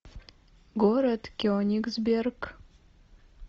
город кенигсберг